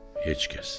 Heç kəs.